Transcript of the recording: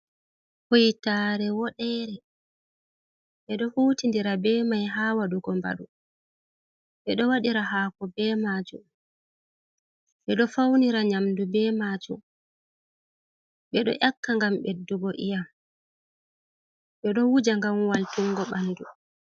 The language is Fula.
Kuitare woɗere ɓe ɗo hutidira ɓe mai ha wadugo mbadu. Ɓe ɗo wadira hako be majum, ɓe ɗo faunira nyamdu ɓe majum, ɓe ɗo nyakka ngam ɓeddugo iyam, ɓe ɗo wuja gamwal tungo ɓandu.